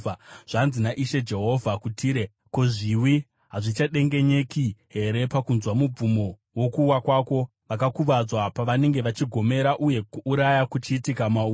“Zvanzi naIshe Jehovha kuTire: Ko, zviwi hazvichadengenyeki here pakunzwa mubvumo wokuwa kwako, vakakuvadzwa pavanenge vachigomera uye kuuraya kuchiitika mauri?